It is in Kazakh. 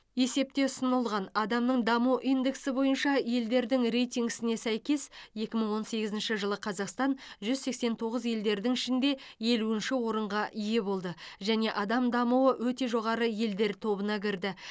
есепте ұсынылған адамның даму индексі бойынша елдердің рейтингісіне сәйкес екі мың он сегізінші жылы қазақстан жүз сексен тоғыз елдердің ішінде елуінші орынға ие болды және адам дамуы өте жоғары елдер тобына кірді